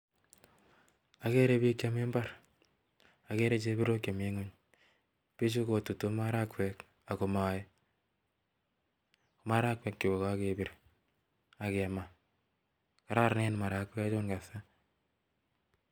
Ageree piik chemii mbar pichu kotutu marakwek chemii mbar akomae marakweek chuu KO kakepir akemaaa Karanen marakwek neaa